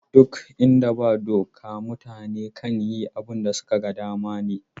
Ɗuk inda ba doka mutane kan yi abin da suka ga dama ne.